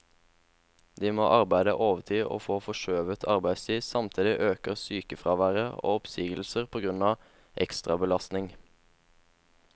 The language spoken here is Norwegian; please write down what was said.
De må arbeide overtid og få forskjøvet arbeidstid, samtidig øker sykefraværet og oppsigelser på grunn av ekstrabelastning.